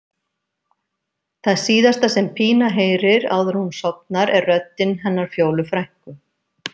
Það síðasta sem Pína heyrir áður en hún sofnar er röddin hennar Fjólu frænku.